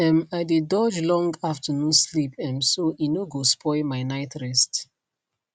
um i dey dodge long afternoon sleep um so e no go spoil my night rest